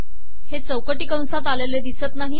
हे चौकटी कंसात आलेले दिसत नाही